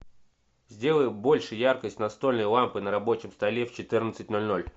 сделай больше яркость настольной лампы на рабочем столе в четырнадцать ноль ноль